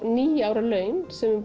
níu ára laun sem við